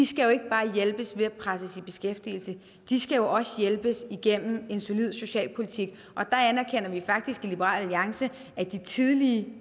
skal ikke bare hjælpes ved at presses i beskæftigelse de skal jo også hjælpes igennem en solid socialpolitik og der anerkender vi faktisk i liberal alliance at de tidlige